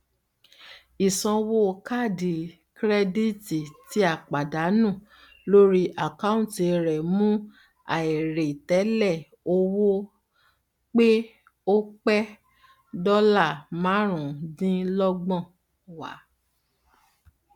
ìsanwó kaádì kirẹdítì tí a pàdánù lórí àkọunti rẹ mú àìrètẹlè owó pe o pẹ dọlà máàrùn dínlọgbọn wá